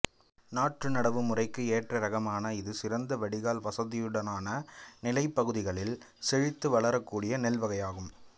நாற்று நடவு முறைக்கு ஏற்ற இராகமான இது சிறந்த வடிகால் வசதியுடனான நிலப்பகுதிகளில் செழித்து வளரக்கூடிய நெல் வகையாகும்